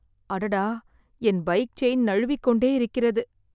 அடடா, என் bike chain நழுவிக்கொண்டே இருக்கிறது.